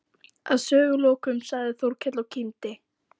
Að sögulokum sagði Þórkell og kímdi